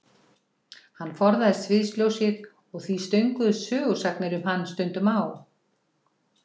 Hann forðaðist sviðsljósið og því stönguðust sögusagnir um hann stundum á.